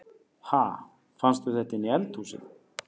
Ha! Fannstu þetta inni í eldhúsi?